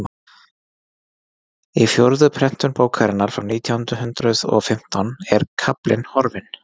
í fjórðu prentun bókarinnar frá nítján hundrað og fimmtán var kaflinn horfinn